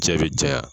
Cɛ bɛ ja